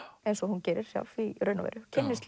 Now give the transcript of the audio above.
eins og hún gerir sjálf í raun og veru kynnist